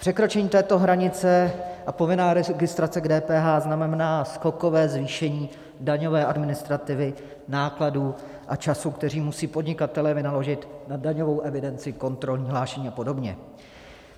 Překročení této hranice a povinná registrace k DPH znamená skokové zvýšení daňové administrativy, nákladů a času, které musí podnikatelé vynaložit na daňovou evidenci, kontrolní hlášení a podobně.